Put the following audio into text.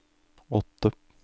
åtte